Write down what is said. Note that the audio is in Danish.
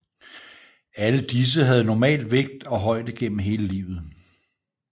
Alle disse havde normal vægt og højde gennem hele livet